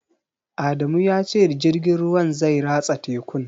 Adamu ya ce jirgin ruwan zai ratsa tekun